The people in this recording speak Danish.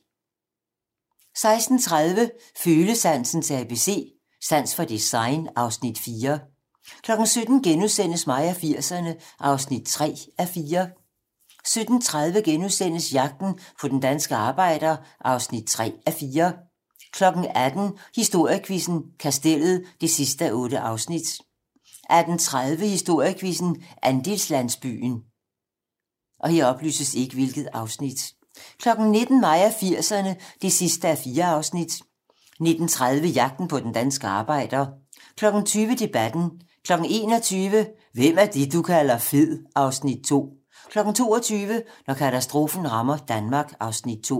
16:30: Følesansens ABC - Sans for design (Afs. 4) 17:00: Mig og 80'erne (3:4)* 17:30: Jagten på den danske arbejder (3:4)* 18:00: Historiequizzen: Kastellet (8:8) 18:30: Historiequizzen: Andelslandsbyen 19:00: Mig og 80'erne (4:4) 19:30: Jagten på den danske arbejder 20:00: Debatten 21:00: Hvem er det, du kalder fed? (Afs. 2) 22:00: Når katastrofen rammer Danmark (Afs. 2)